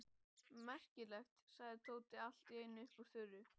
Merkilegt! sagði Tóti allt í einu upp úr þurru.